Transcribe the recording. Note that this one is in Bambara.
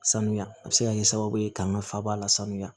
Sanuya a bɛ se ka kɛ sababu ye k'an ka faba la sanuya